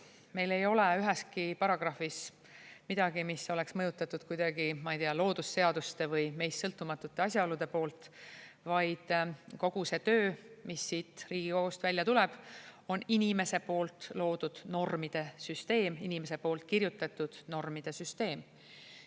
Meil ei ole üheski paragrahvis midagi, mis oleks mõjutatud kuidagi, ma ei tea, loodusseaduste või meist sõltumatute asjaolude poolt, vaid kogu see töö, mis siit Riigikogust välja tuleb, on inimese poolt loodud normide süsteem, inimese poolt kirjutatud normide süsteem.